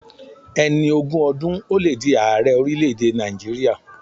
Ẹni ogún ọdún ò le di aarẹ orílẹ̀ èdè Nàìjíríà.